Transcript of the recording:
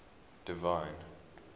divine